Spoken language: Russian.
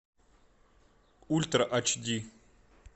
ультра ач ди